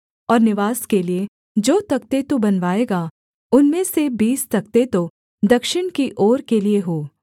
और निवास के लिये जो तख्ते तू बनवाएगा उनमें से बीस तख्ते तो दक्षिण की ओर के लिये हों